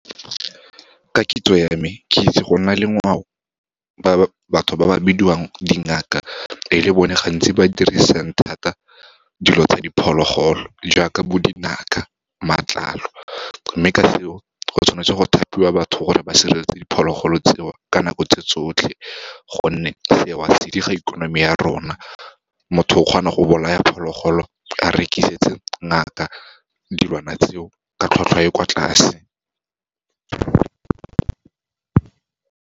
Ka kitso ya me, ke itse go nna le ngwao batho ba ba bidiwang dingaka, e le bone gantsi ba dirisang thata dilo tsa diphologolo, jaaka bo dinaka, matlalo. Mme ka seo, go tshwanetse go thapiwa batho gore ba sireletsa diphologolo tseo, ka nako tse tsotlhe, gonne seo se diga ikonomi ya rona. Motho o kgona go bolaya phologolo a rekisetse ngaka dilwana tseo, ka tlhwatlhwa e kwa tlase.